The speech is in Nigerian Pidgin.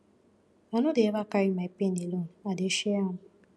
i no dey eva carry my pain alone i dey share am